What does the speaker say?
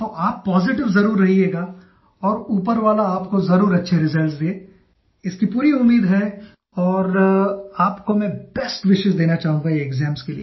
तो आप पॉजिटिव ज़रूर रहियेगा और ऊपर वाला आपको ज़रूर अच्छे रिजल्ट्स दे ये मुझे इसकी पूरी उम्मीद है और आपको मैं बेस्ट विशेस देना चाहूँगा एक्साम्स के लिए